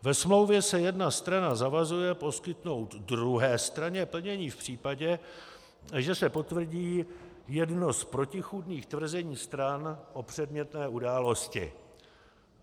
Ve smlouvě se jedna strana zavazuje poskytnout druhé straně plnění v případě, že se potvrdí jedno z protichůdných tvrzení stran o předmětné události.